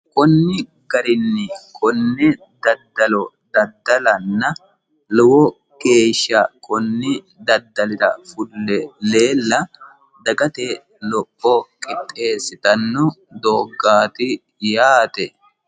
konni garinni konne daddalo daddalanna lowo geesha kunni daddalira fule leella dagate lopho qixxeessitanno dooggaati yaate.